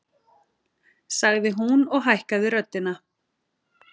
sagði hún og hækkaði röddina.